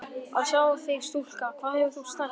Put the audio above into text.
Að sjá þig stúlka hvað þú hefur stækkað!